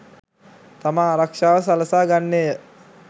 තම ආරක්‍ෂාව සලසා ගන්නේය.